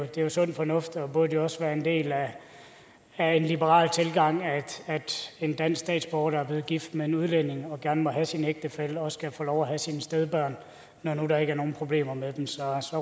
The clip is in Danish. det sund fornuft og det burde også være en del af en liberal tilgang at en dansk statsborger der er blevet gift med en udlænding og gerne må have sin ægtefælle her også kan få lov at have sine stedbørn når nu der ikke er nogen problemer med dem så